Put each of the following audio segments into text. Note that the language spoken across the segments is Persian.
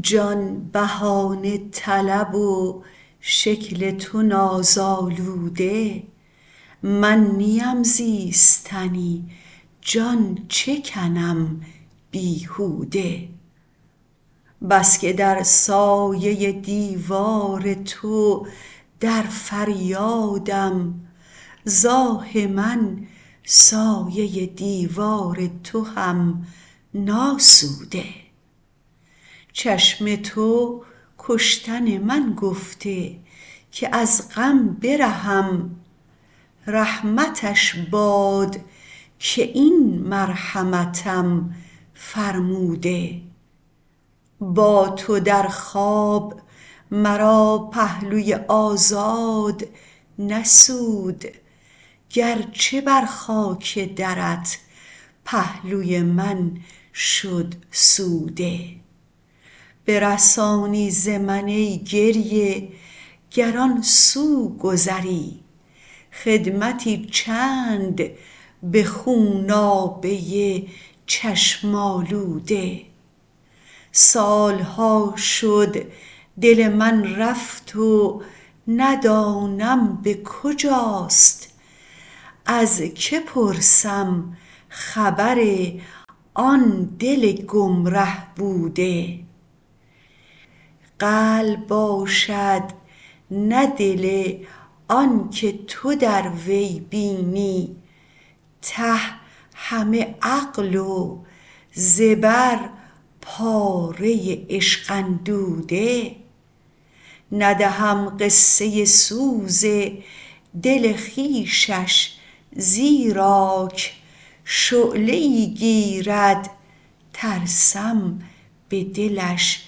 جان بهانه طلب و شکل تو نازآلوده من نیم زیستنی جان چه کنم بیهوده بس که در سایه دیوار تو در فریادم ز آه من سایه دیوار تو هم ناسوده چشم تو کشتن من گفته که از غم برهم رحمتش باد که این مرحمتم فرموده با تو در خواب مرا پهلوی آزاد نسود گر چه بر خاک درت پهلوی من شد سوده برسانی ز من ای گریه گر آن سو گذری خدمتی چند به خونابه چشم آلوده سال ها شد دل من رفت و ندانم به کجاست از که پرسم خبر آن دل گمره بوده قلب باشد نه دل آن که تو در وی بینی ته همه عقل و زبر پاره عشق اندوده ندهم قصه سوز دل خویشش زیراک شعله ای گیرد ترسم به دلش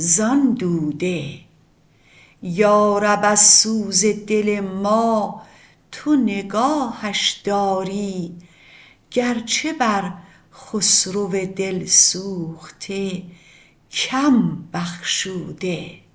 زان دوده یارب از سوز دل ما تو نگاهش داری گر چه بر خسرو دل سوخته کم بخشوده